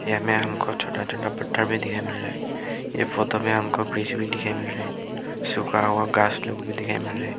इसमें हमको छोटा छोटा पत्ता भी दिखाई मिल रहा है इस फोटो में हमको ब्रिज भी दिखाई मील रहा है सुखा हुआ घास लोग भी दिख रहा है।